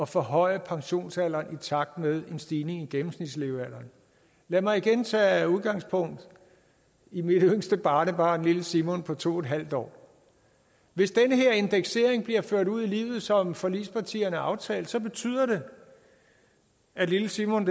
forhøje pensionsalderen i takt med en stigning i gennemsnitslevealderen lad mig igen tage udgangspunkt i mit yngste barnebarn lille simon på to en halv år hvis den her indeksering bliver ført ud i livet som forligspartierne har aftalt betyder det at lille simon